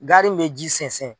Gari min bɛ ji sɛnsɛn.